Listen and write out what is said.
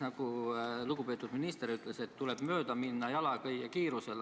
Nagu lugupeetud minister ütles, et tuleb mööduda jalakäija kiirusel.